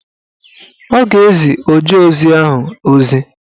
Ọ ga-ezi ojeozi ahụ ozi.